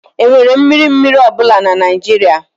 Enwere mmiri mmiri ọ bụla na Nigeria?